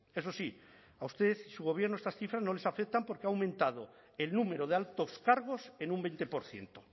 eso sí a usted y su gobierno estas cifras no les afectan porque ha aumentado el número de altos cargos en un veinte por ciento